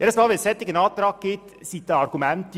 Bei jedem solchen Antrag gibt es dieselben Gegenargumente.